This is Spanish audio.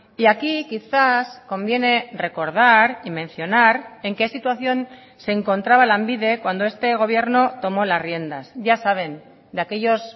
y aquí quizás conviene recordar y mencionar en qué situación se encontraba lanbide cuando este gobierno tomó las riendas ya saben de aquellos